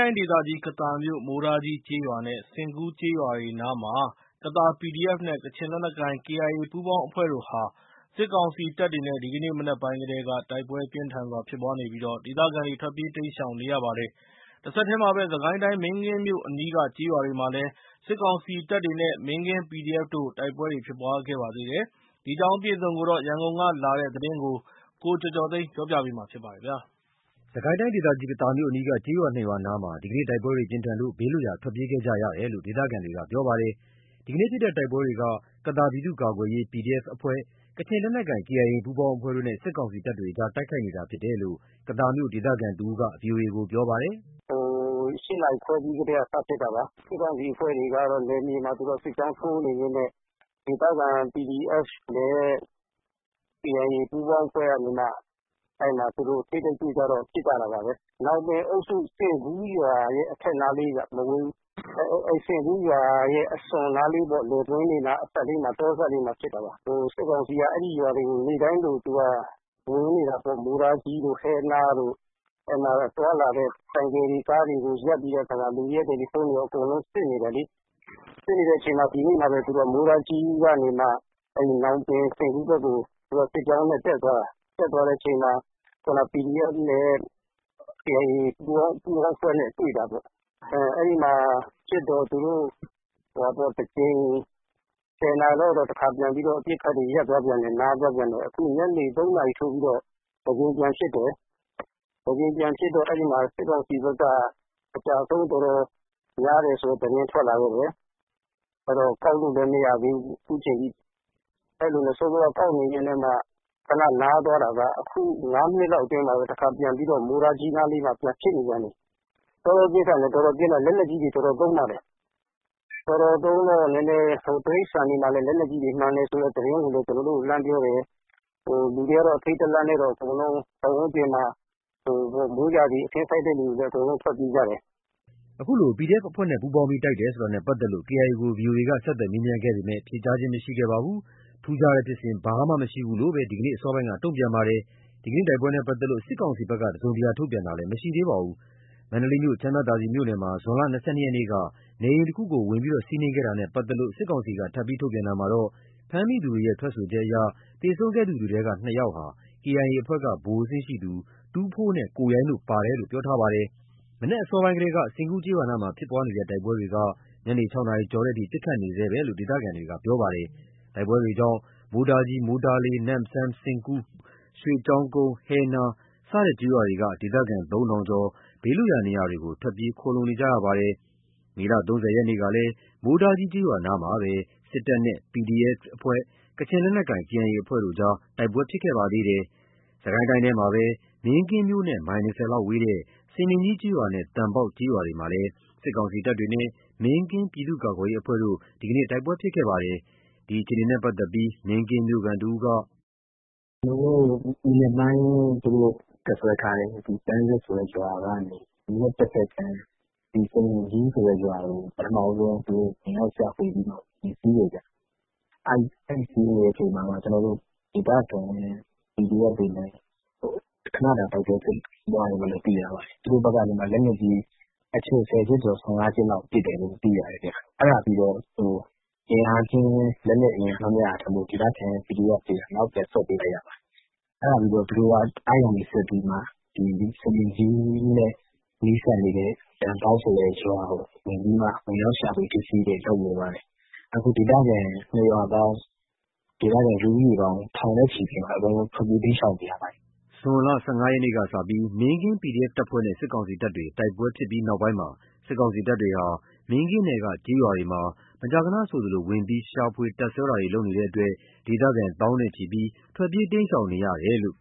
ိုင်းဒေသကြီး ကသာမြို့ မိုးတားကြီး ကျေးရွာနဲ့ ဆင်ကူး ကျေးရွာတွေနားမှာ စစ်တပ်တဲ့ ပြည်သူ့ကာကွယ်ရေးတပ်တွေ ဒီနေ့ ဇွန် ၂၄ ရက်နေ့ မနက်ပိုင်းကတည်းက တိုက်ပွဲပြင်းထန်စွာ ဖြစ်နေလို့ ဒေသခံတွေ ဘေးလွတ်ရာ ထွက်ပြေးနေကြရပါတယ်။ စစ်ကိုင်းတိုင်းထဲကပဲ မင်းကင်းမြို့အနီးက ကျေးရွာတွေမှာလည်း စစ်ကောင်စီတပ်တွေနဲ့ မင်းကင်း PDF တို့ တိုက်ပွဲဖြစ်ပွားပါသေးတယ်။ ဒီအကြောင်း အပြည့်အစုံ ရန်ကုန်က လာတဲ့ သတင်းကို ကိုကျော်ကျော်သိန်းကပြောပြပါမယ်။ စစ်ကိုင်းတိုင်းဒေသကြီး ကသာမြို့ အနီးက မိုးတားကြီး ကျေးရွာ နဲ့ ဆင်ကူးကျေးရွာအနီးမှာ ဒီနေ့ တိုက်ပွဲတွေ ပြင်းထန်လို့ ဘေးလွတ်ရာ ထွက်ပြေးခဲ့ကြရတယ်လို့ ဒေသခံတွေက ပြောပါတယ်။ ဒီနေ့ဖြစ်တဲ့ တိုက်ပွဲတွေက ကသာပြည်သူ့ကာကွယ်ရေး PDF အဖွဲ့၊ ကချင်လက်နက်ကိုင် KIA ပူးပေါင်းအဖွဲ့တို့နဲ့ စစ်ကောင်စီတပ်တွေကြား တိုက်ခိုက်နေတာဖြစ်တယ်လို့ ကသာမြို့ ဒေသခံတဦးက အခုလိုပြောပါတယ်။ “၈ နာရီခွဲကတည်းက စဖြစ်တာ စစ်ကောင်စီတပ်ဖွဲ့တွေက နယ်မြေမှာ စစ်ကြောင်းထိုးနေရင်းနဲ့ ဒေသခံ PDF နဲ့ KIA ပူးပေါင်း အဖွဲ့ကနေမှ ထိပ်တိုက်တွေ့ကြတော့ ပစ်ကြတာပါပဲ။ ညောင်ပင်အုပ်စု ဆင်ကူးရွာရဲ့ အထက်နားလေးပဲ မဝေးဘူး။ ဆင်ကူးရွာရဲ့ အစွန်နားလေးပေါ့ လယ်ကွင်းအစပ်လေးမှာ တောအစပ်လေးမှာ ဖြစ်တာပါ။ စစ်ကောင်စီက အဲ့ဒီရွာတွေကို နေ့တိုင်းလိုလို ဝင်နေတာပေါ့ မိုးတားကြီးတို့ ဟဲနားတို့ သွားလာတဲ့ ဆိုင်ကယ်တွေ ကားတွေကို ရပ်ပြီးတော့ လူတွေရဲ့တယ်လီဖုန်းတွေအကုန်လုံး စစ်နေတယ်လေ။ စစ်နေတဲ့အချိန်မှာပဲ ဒီနေ့မှာပဲ မိုးတားကြီးကနေမှာ ညောင်ပင် ဆင်ကူးဘက်ကို စစ်ကြောင်းနဲ့ တက်သွားတာ။ တက်သွားတဲ့အချိန်မှာ ခုနက PDF နဲ့ KIA ပူးပေါင်း အဖွဲ့နဲ့ တွေ့တာပေါ့။ အဲ့ဒီမှာ ပစ်တော့ သူတို့တကြိမ် ၁၀ နာရီလောက်မှာ အပစ်ခတ်တွေ ရပ်သွားသေးတယ်။ အခုညနေ ၃ နာရီထိုးပြီးတော့ တကြိမ် ထပ်ဖြစ်တယ်။ တကြိမ်ပြန်ဖြစ်တော့ စစ်ကောင်စီဘက်က အကျအဆုံး တော်တော်များတယ်ဆိုတဲ့ သတင်းထွက်လာခဲ့တယ်။ ကောက်လို့လည်းမရသေးဘူး အခုချိန်ထိ အစောက ကောက်နေရင်းနဲ့ မှ ခဏနားသွားတာကနေ အခု ၅ မိနစ်လောက်မှာပဲ မိုးတားကြီးနားမှာ တခါထပ်ပစ်နေပြန်ပီ။ တော်တော်ပြင်းထန်တယ်။ လက်နက်ကြီးတွေ တော်တော်လည်း သုံးတယ်။ တော်တော်သုံးတော့ တိရစ္ဆာန်တွေမှာလည်း လက်နက်ကြီးထိမှန်တယ်ဆိုတဲ့ သတင်းလည်း ကျွန်တော်တို့ကို လှမ်းပြောတယ်။ လူတွေကတော့ အထိတ် တလန့်နဲ့ အကုန်လုံး ပတ်ဝန်းကျင်မှာ မိုးရာသီ အခင်းစိုက်တဲ့သူတွေလည်း ထွက်ပြေးကြတယ်။” ခုလို PDF အဖွဲ့နဲ့ ပူးပေါင်းပြီး တိုက်တယ်ဆိုတာနဲ့ပါတ်သက်လို့ KIA ကိုဗီအိုအေက ဆက်သွယ်မေးပေမဲ့ ဖြေကြားခြင်းမရှိပါဘူး။ ထူးခြားတဲ့ ဖြစ်စဉ်ဘာမှမရှိဘူးလို့သာ ဒီနေ့ အစောပိုင်းက တုံ့ပြန်ပါတယ်။ ဒီနေ့တိုက်ပွဲနဲ့ ပတ်သက်လို့ စစ်ကောင်စီဖက်က တစုံတရာ ထုတ်ပြန်ခြင်းမရှိသေးပါဘူး။ မန္တလေးမြို့ ချမ်းမြသာစည်မြို့နယ်မှာ ဇွန်လ ၂၂ ရက်နေ့က နေအိမ်တခုဝင်စီးနင်းမှုနဲ့ ပါတ်သက်လို့ စစ်ကောင်စီက ထပ်မံ ထုတ်ပြန်တာမှာတော့ ဖမ်းမိသူတွေရဲ့ ထွက်ဆိုချက်အရ သေဆုံးခဲ့သူတွေထဲက ၂ ယောက်ဟာ KIA အဖွဲ့က ဗိုလ်အဆင့်ရှိသူ ထူးဖိုးနဲ့ကိုရိုင်းတို့ပါတယ်လို့ပြောထားပါတယ်။ မနက်အစောပိုင်းကတည်းက ဆင်ကူးကျေးရွာနားမှာ ဖြစ်ပွားနေတဲ့တိုက်ပွဲတွေက ညနေ ၆ နာရီကျော်တဲ့အထိ ပစ်ခတ်နေဆဲလို့ ဒေသခံတွေက ပြောပါတယ်။ တိုက်ပွဲတွေကြောင့် မိုးတားကြီး မိုးတားလေး နမ့်စမ်း ဆင်ကူး ရွှေကျောင်းကုန်း ဟဲနား စတဲ့ ကျေးရွာတွေက ဒေသခံ ၃ ထောင်ကျော်ဟာ ဘေးလွတ်ရာ နေရာတွေကို ထွက်ပြေး ခိုလှုံနေကြရပါတယ်။ မေလ ၃၀ ရက်ကလည်း မိုးတားကြီး ကျေးရွာနားမှာပဲ စစ်တပ်နဲ့ ဒေသခံ ပြည်သူ့ကာကွယ်ရေးအဖွဲ့ PDF ၊ ကချင်လက်နက်ကိုင်အဖွဲ့ KIA ပူးပေါင်းအဖွဲ့တို့ကြား တိုက်ပွဲတွေဖြစ်ခဲ့ပါသေးတယ်။ စစ်ကိုင်းတိုင်းထဲမှာပဲ မင်းကင်းမြို့နဲ့ မိုင် ၂၀ လောက်ဝေးတဲ့ စမြင်ကြီး ကျေးရွာနဲ့ သံပေါက် ကျေးရွာတွေမှာလည်း စစ်ကောင်စီတပ်တွေနဲ့ မင်းကင်း ပြည်သူ့ကာကွယ်ရေးအဖွဲ့တို့ ဒီနေ့ တိုက်ပွဲဖြစ်ပွားခဲ့ပါသေးတယ်။ ဒီအခြေအနေနဲ့ ပတ်သက်လို့ မင်းကင်းမြို့ခံ တဦးက “မနက်ပိုင်းက သူတို့တပ်စွဲထားတဲ့ ပန်းဆက်ဆိုတဲ့ ရွာကနေ မြစ်တဖက်ကမ်း စမြင်ကြီးဆိုတဲ့ရွာကို ဝင်ရောက်ရှာဖွေပြီးမှ ဝင်စီးတယ်ခင်ဗျ။ အဲ့စီးနေတဲ့အချိန်မှာ ဒေသခံ PDF တွေနဲ့ ခဏတိုက်ပွဲဖြစ်ပွားတယ်။ သူတို့ဘက်က လက်နက်ကြီး ၁၀ ချက်ကျော် ၁၅ ချက်လောက် ပစ်တယ်လို့ သိရတယ်။ အဲ့ဒါပြီးတော့ လက်နက်ချင်း အင်းအားချင်းမမျှလို့ ဒေသခံ PDF တွေက နောက်ပြန် ဆုတ်ပေးလိုက်ရတယ်။ အဲ့ဒါပြီးတော့ သူတို့က စမြင်ကြီးနဲ့ နီးစပ်နေတဲ့ သံပေါက်ဆိုတဲ့ ရွာကို ဝင်ရောက်ရှာဖွေတာတွေ လုပ်နေတယ်။ အဲ့ ၂ ရွာပေါင်း ဒေသခံ ထောင်နဲ့ချီ ထွက်ပြေး တိမ်းရှောင်နေရတယ်။” ဇွန်လ ၁၅ ရက်နေ့က စပြီး မင်းကင်း PDF တပ်ဖွဲ့နဲ့ စစ်ကောင်စီတပ်တွေ တိုက်ပွဲဖြစ်ပြီးနောက်ပိုင်းမှာ စစ်ကောင်စီတပ်တွေဟာ မင်းကင်းနယ်က ကျေးရွာတွေမှာ မကြာခဏဆိုသလို ဝင်ရောက်ရှာဖွေ တပ်စွဲတာတွေပြုလုပ်နေတဲ့အတွက် ဒေသခံ သောင်းနဲ့ချီဟာ ထွက်ပြေးတိမ်းရှောင်နေရတယ်လို့